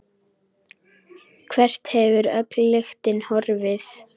Hvert hefur öll lyktin horfið?